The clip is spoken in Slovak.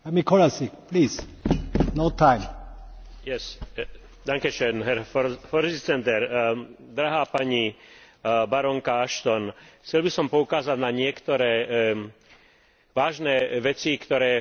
Chcel by som poukázať na niektoré vážne veci, ktoré v sýrskom konflikte sú dva milióny utečencov, šesť miliónov vnútorne presídlených ľudí a hlavne 100 tisíc mŕtvych v tomto